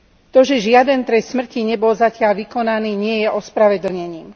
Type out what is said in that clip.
To, že žiaden trest smrti nebol zatiaľ vykonaný, nie je ospravedlnením.